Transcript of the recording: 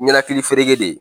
Ɲɛnakilifereke de